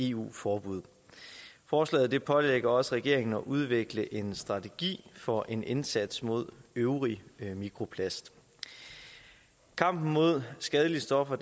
eu forbud forslaget pålægger også regeringen at udvikle en strategi for en indsats mod øvrig mikroplast kampen mod skadelige stoffer